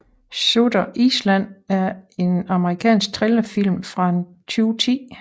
Shutter Island er en amerikansk thrillerfilm fra 2010